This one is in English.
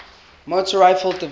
motor rifle division